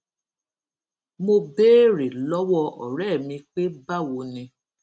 mo béèrè lówó òré mi pé báwo ni